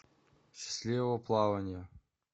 счастливого плаванья